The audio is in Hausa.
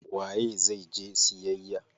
Waye zai je siyayya?